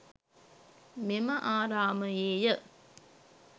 මෙම ආරාමයේ ය.